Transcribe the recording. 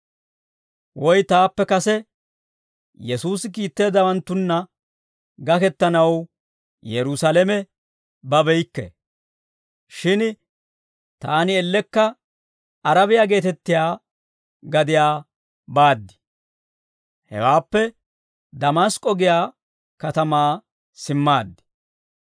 Woy taappe kase Yesuusi kiitteeddawanttunna gakettanaw Yerusaalame babeykke; shin taani ellekka Arabiyaa geetettiyaa gadiyaa baad. Hewaappe Damask'k'o giyaa katamaa simmaaddi.